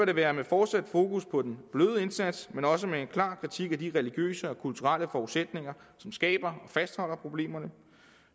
det være med fortsat fokus på den bløde indsats men også med en klar kritik af de religiøse og kulturelle forudsætninger som skaber og fastholder problemerne